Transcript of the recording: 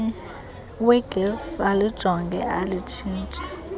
wegesi alijonge alitshintshe